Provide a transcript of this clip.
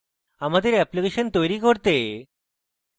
আমাদের অ্যাপ্লিকেশন তৈরী করতে